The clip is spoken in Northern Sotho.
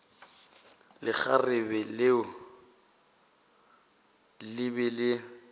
lekgarebe leo le be le